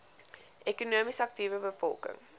ekonomies aktiewe bevolking